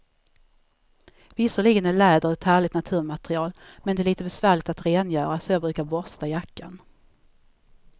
Visserligen är läder ett härligt naturmaterial, men det är lite besvärligt att rengöra, så jag brukar borsta jackan.